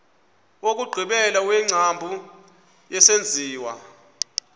wokugqibela wengcambu yesenziwa